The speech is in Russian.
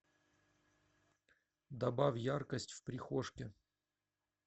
добавь яркость в прихожке